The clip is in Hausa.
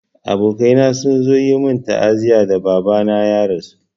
Abokaina sun zo yi min ta'aziyya da Baba na ya rasu.